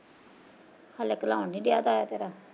ਹਲੇ ਘਲਾਉਣ ਨਹੀਂ ਡੇਆ ਤਾਇਆ ਤੇਰਾ।